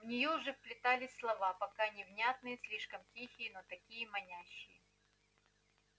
в неё уже вплетались слова пока невнятные слишком тихие но такие манящие